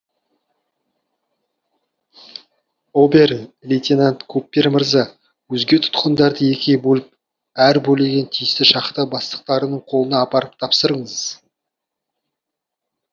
обер лейтенант куппер мырза өзге тұтқындарды екіге бөліп әр бөлегін тиісті шахта бастықтарының қолына апарып тапсырыңыз